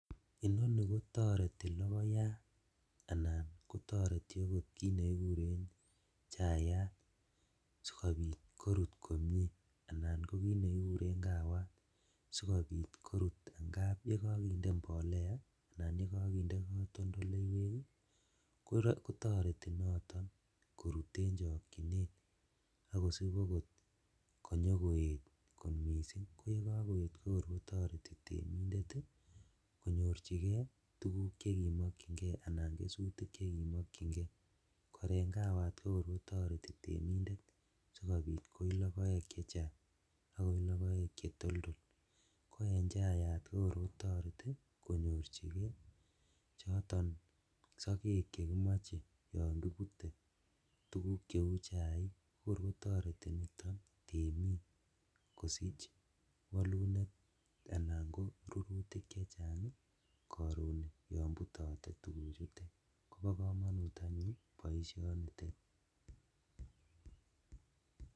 Inoni kotoreti logoyat anan kotoreti okot kit nekikuren chayat sikobit korut komie anan kokit nekikuren kawat sikobit korut angap yekokinde mbolea anan yekokinde kotondoleiwek ii kotoreti noton korut en chokchinet ak kosib okot konyokoet missing' koyekokoet kotoreti temindet ii konyorjigee tuguk chekimokchingee anan kesutik chekimokyingee kor en kawat kokor kotoreti temindet sikobit koi logoek chechang ak koi logoek chetoldol ko en chayat kokor kotoreti konyorjigee choton sokek chekmoche yon kibute tuguk cheu chaik kokor kotoreti niton temik kosich wolunet anan ko rurutik chechang ii koron yon butote tuguchutet kobo komonut anyun boisionitet .